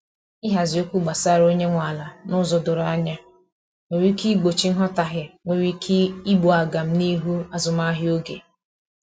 ihazi okwu gbasara onye nwe ala n'ụzọ doro anya nwere ike igbochi nghotahie nwere ike igbú agam n'ihu azụmahịa oge